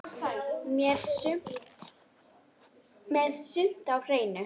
Með sumt á hreinu.